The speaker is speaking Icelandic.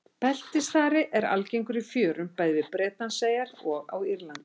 Beltisþari er algengur í fjörum bæði við Bretlandseyjar og á Írlandi.